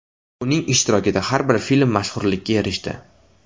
Uning ishtirokida har bir film mashhurlikka erishdi.